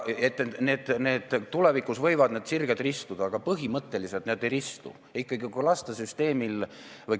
Tulevikus võivad need sirged – või kõverad – ristuda, aga põhimõtteliselt need ei ristu.